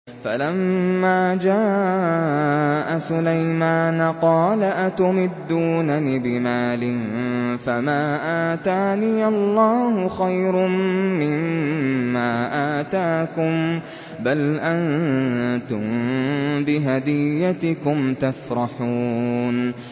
فَلَمَّا جَاءَ سُلَيْمَانَ قَالَ أَتُمِدُّونَنِ بِمَالٍ فَمَا آتَانِيَ اللَّهُ خَيْرٌ مِّمَّا آتَاكُم بَلْ أَنتُم بِهَدِيَّتِكُمْ تَفْرَحُونَ